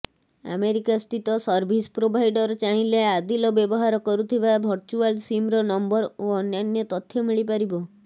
ଆମେରିକାସ୍ଥିତ service provider ଚାହିଁଲେ ଆଦିଲ ବ୍ୟବହାର କରୁଥିବା ଭର୍ଚୁଆଲ ସିମ୍ର ନମ୍ବର ଓ ଅନ୍ୟାନ୍ୟ ତଥ୍ୟ ମିଳିପାରିବ